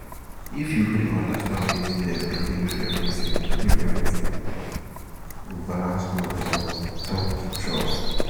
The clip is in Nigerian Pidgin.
if you gree understand wetin dem believe everything believe everything go balance well — from talk to trust.